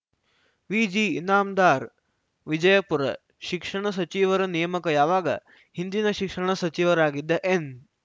ವಿಜಿಇನಾಮದಾರ್ ವಿಜಯಪುರ ಶಿಕ್ಷಣ ಸಚಿವರ ನೇಮಕ ಯಾವಾಗ ಹಿಂದಿನ ಶಿಕ್ಷಣ ಸಚಿವರಾಗಿದ್ದ ಎನ್‌